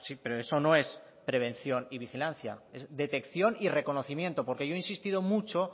pero eso no es prevención y vigilancia es detección y reconocimiento porque yo he insistido mucho